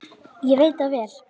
Ég veit það vel!